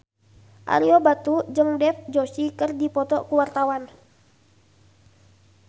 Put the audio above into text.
Ario Batu jeung Dev Joshi keur dipoto ku wartawan